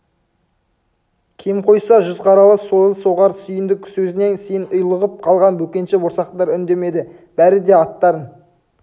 кем қойса жүз қаралы сойыл соғар сүйіндік сөзінен сөн ұйлығып қалған бөкенші борсақтар үндемеді бәрі де аттарын